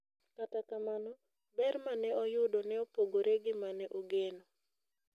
Kata kamano, ber ma ne oyudo ne opogore gi ma ne ogeno.